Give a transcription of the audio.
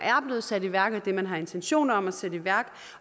blevet sat i værk og det man har intentioner om at sætte i værk